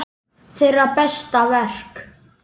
Þeirra besta verk.